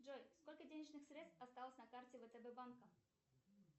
джой сколько денежных средств осталось на карте втб банка